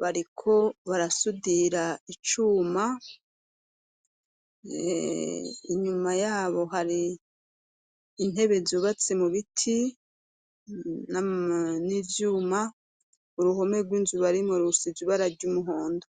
bariko barasudira icuma inyuma yabo hari intebe zubatse mu biti n'ivyuma uruhome rw'inzu bari murusizubara ry'umuhondo.